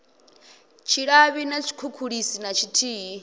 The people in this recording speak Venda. tshilavhi na tshikhukhulisi na tshithihi